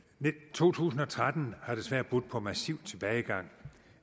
to tusind og tretten har desværre budt på massiv tilbagegang